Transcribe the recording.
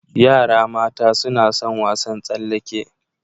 Yara mata suna sun wasan tsallake.